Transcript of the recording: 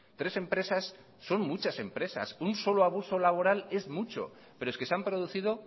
tres empresas son muchas empresas un solo abuso laboral es mucho pero es que se han producido